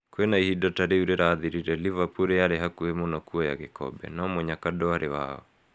Kwĩna ihinda ta riũ rirathirire, Liverpool yarĩ hakuhĩ mũno kuoya gĩkombe, no mũnyaka ndũarĩ wao.